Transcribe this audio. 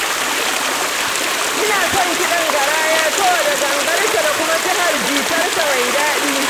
Ina son kiɗan garaya saboda gangarsa da kuma jihar jitarsa mai daɗi.